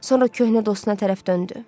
Sonra köhnə dostuna tərəf döndü.